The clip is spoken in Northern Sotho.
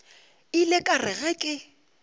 ile ka re ge ke